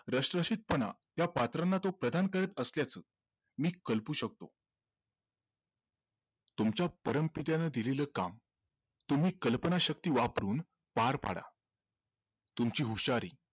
रसरशीतपणा त्या पात्रांना तो प्रधान करत असल्याचं मी कल्पू शकतो तुमच्या परमपित्याने दिलेलं काम तुम्ही कल्पनाशक्ती वापरून पार पाडा तुमची हुशारी